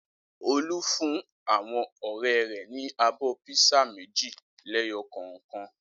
Olú fún àwọn ọ̀rẹ́ rẹ̀ ní abọ́ písà méjì lẹ́yọ kọ̀ọ̀kan.